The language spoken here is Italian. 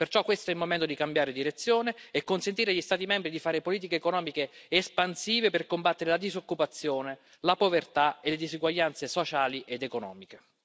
Perciò questo è il momento di cambiare direzione e consentire agli Stati membri di fare politiche economiche espansive per combattere la disoccupazione, la povertà e le disuguaglianze sociali ed economiche.